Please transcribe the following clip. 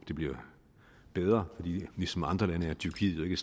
det bliver bedre for ligesom andre lande er tyrkiet jo ikke